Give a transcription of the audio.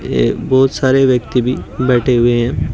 ये बहुत सारे व्यक्ति भी बैठे हुए हैं।